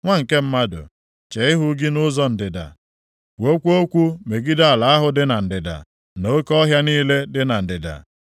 “Nwa nke mmadụ, chee ihu gị nʼụzọ ndịda. Kwuokwa okwu megide ala ahụ dị na ndịda, na oke ọhịa niile dị na ndịda.